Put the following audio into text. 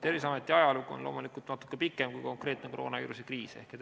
Terviseameti ajalugu on loomulikult natuke pikem kui konkreetne koroonaviiruse kriis.